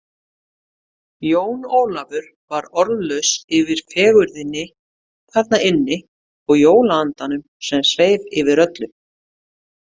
Jón Ólafur varð orðlaus yfir fegurðinni þarna inni og jólaandanum sem sveif yfir öllu.